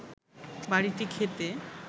বাড়িটি খেতে